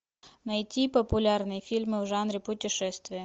найти популярные фильмы в жанре путешествия